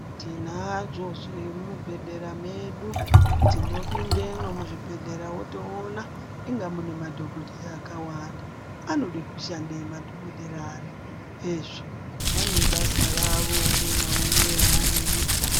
Tinazvo zvemubhehlera medu, tinopindemwo muzvibhedhlera wotoona ,inga mune madhokodheya akawanda, Anoda kushandei madhokodhera ano? Hezvo! Vane basa ravo umwe naumwe raanoita.